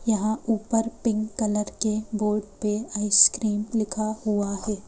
यहाँ ऊपर pink colour के बोर्ड पे आइसक्रीम लिखा हुआ है।